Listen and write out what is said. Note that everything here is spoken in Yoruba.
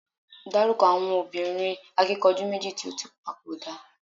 daruko àwọn obìnrin akikanju meji ti o ti papoda